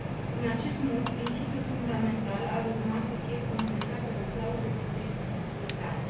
În acest mod, principiul fundamental ar urma să fie completat de o clauză de previzibilitate.